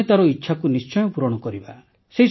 ଆମେ ତାର ଇଚ୍ଛାକୁ ନିଶ୍ଚୟ ପୂରଣ କରିବା